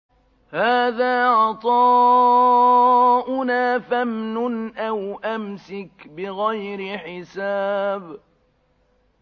هَٰذَا عَطَاؤُنَا فَامْنُنْ أَوْ أَمْسِكْ بِغَيْرِ حِسَابٍ